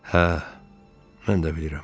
Hə, mən də bilirəm.